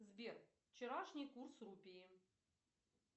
сбер вчерашний курс рупии